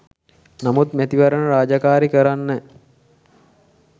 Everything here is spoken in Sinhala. නමුත් මැතිවරණ රාජකාරි කරන්න